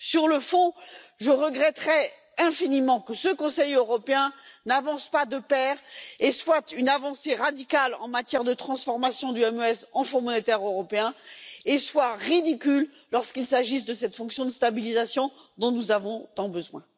Sur le fond, je regretterais infiniment que ce Conseil européen n'avance pas de concert et soit une avancée radicale sur la voie de la transformation du MES en Fonds monétaire européen, et qu'il soit ridicule lorsqu'il s'agit de cette fonction de stabilisation dont nous avons tant besoin.